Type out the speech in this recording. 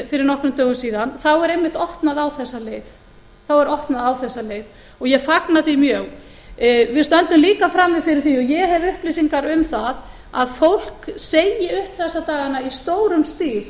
fyrir nokkrum dögum síðan þá er einmitt opnað á þessa leið og ég fagna því mjög við stöndum líka frammi fyrir því og ég hef upplýsingar um það að fólk segi upp þessa dagana í stórum stíl